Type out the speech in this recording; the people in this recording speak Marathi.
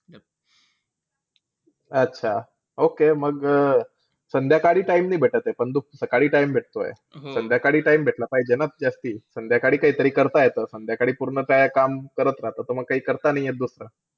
अच्छा okay मग संध्याकाळी time नाई भेटते पण सकाळी time भेटतोय. संध्याकाळी time भेटला पाहिजे ना जास्ती? संध्याकाळी काईतरी करता येतं. संध्याकाळी पूर्ण काय काम करत राहतो त म काई करता नाई येत दुसरं.